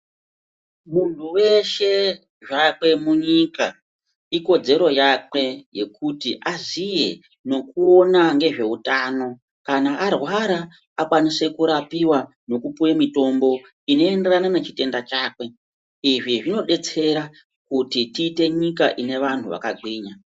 Munhu weshe zvakwe munyika, ikodzero yakwe yekuti aziye nekuona nezveutano kana arwara akwanise kurapiwa nekupuwe mitombo inoenderana nechitenda chakwe. Izvi zvinodetsera kuti tiite nyika inevanhu vakagwinya.